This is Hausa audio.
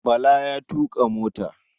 Bala ya tuƙa mota.